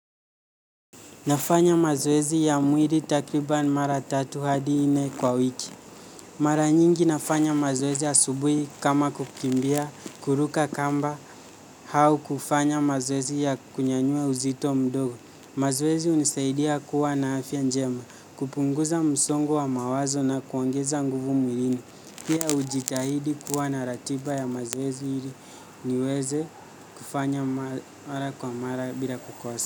Nafanya mazoezi ya mwili takriban mara tatu hadi nne kwa wiki. Mara nyingi nafanya mazoezi asubuhi kama kukimbia, kuruka kamba au kufanya mazoezi ya kunyanyua uzito mdogo. Mazwezi hunisaidia kuwa na afya njema, kupunguza msongo wa mawazo na kuongeza nguvu mwiliini. Pia ujitahidi kuwa na ratiba ya mazoezi ili niweze kufanya mara kwa mara bila kukosa.